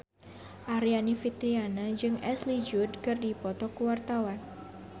Aryani Fitriana jeung Ashley Judd keur dipoto ku wartawan